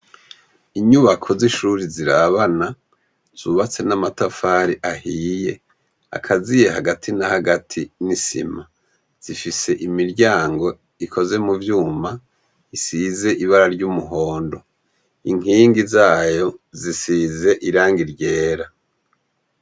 Inyubako z'ishure zirabana zubatse n'amatafari ahiye akaziye hagati na hagati n'isima zifise imiryango ikoze mu vyuma isize ibara ry'umuhondo inkingi zayo zisize irangi ryera.